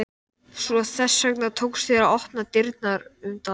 Svo þess vegna tókst þér að opna dyrnar um dag